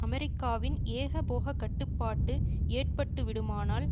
அமெரிக்காவின் ஏகபோக கட்டுப்பாட்டு ஏற்பட்டுவிடுமானால்